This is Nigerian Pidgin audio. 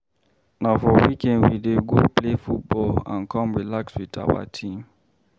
Na for weekend we dey go play football and come relax with our team.